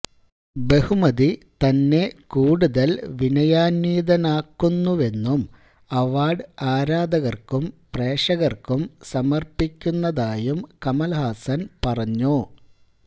ബഹുമതി തന്നെ കൂടുതല് വിനയാന്വിതനാക്കുന്നുവെന്നും അവാര്ഡ് ആരാധകര്ക്കും പ്രേക്ഷകര്ക്കും സമര്പ്പിക്കുന്നതായും കമല്ഹാസന് പറഞ്ഞു